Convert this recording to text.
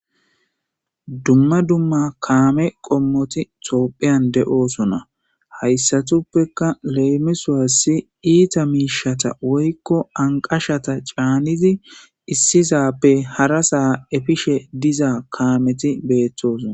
Duma duma kame qomoti thopian de'osona haysatupeka lemisos ita mishata woyko anqashata c'anizi Isisape hara sa efishe diza kameti betosona.